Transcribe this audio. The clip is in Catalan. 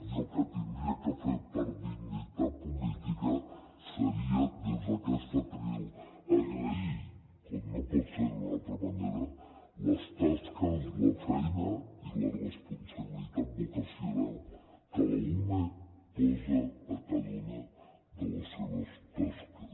i el que tindria de fer per dignitat política seria des d’aquest faristol agrair com no pot ser d’una altra manera les tasques la feina i la responsabilitat vocacional que l’ume posa a cada una de les seves tasques